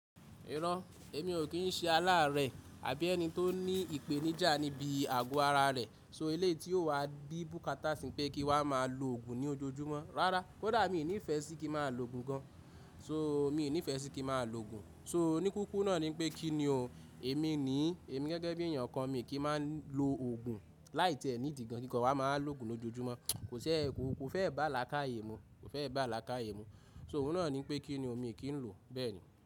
Iro, èmi ò kí n ṣe aláàrẹ̀ àbí ẹni tó ní ìpèníjà níbi àgọ ara rẹ̀. So, eléyii tí ó wá bí búkátà sì n pé kí wa máa lo òògùn ní ojoojúmọ́. Rárá, kódà mi ní ìfẹ́ sí kí ma lo òògùn gan. So, mi nì ifẹ́ sí kí maa lo òògùn. So oníkukurú náà ní pé kí ni o, èmi ní èmi gẹ́gẹ́ bí èèyàn kan mi kì í má lo òògùn láì tiẹ́ ni idi gan kí nkan wa má wa lo òògùn lójoojúmọ́. Kò fẹ́ bá laákàyè mú. So òun náà ní pé kí ni o mi kì í lò bẹ́ẹ̀ni.